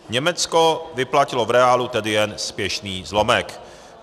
Německo vyplatilo v reálu tedy jen směšný zlomek."